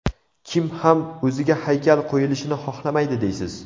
Kim ham o‘ziga haykal qo‘yilishini xohlamaydi deysiz?